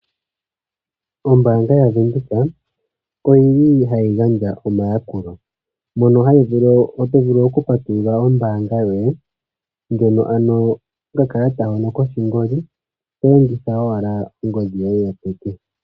Ombaaga yaVenduka oyili hayi gandja omayakulo mno hayi vulu okupatulula ombaanga yoye ngene ano okakalata hono koshingoli otolongitha owala ongodhi yoye yopeke.